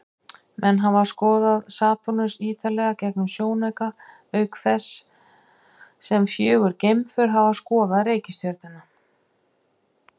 Menn hafa skoðað Satúrnus ýtarlega gegnum sjónauka, auk þess sem fjögur geimför hafa skoðað reikistjörnuna.